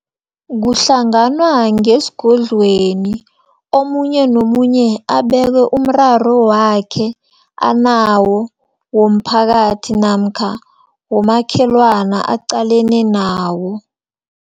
Kuhlanganwa ngesigodlweni, omunye nomunye abeke umraro wakhe anawo, womphakathi, namkha womakhelwana aqalene nawo.